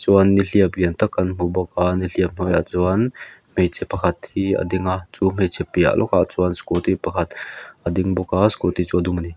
chuan nihliap lian tak kan hmuh bawka nihliap hnuaiah chuan hmeichhe pakhat hi a ding a chu hmeichhe piah lawkah chuan chuan scooty pakhat a ding bawka scooty chu a dum ani.